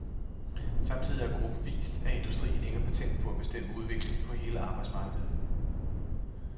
Samtidig har gruppen vist, at industrien ikke har patent på at bestemme udviklingen på hele arbejdsmarkedet.